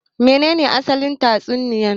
Me ne ne asalin tatsuniya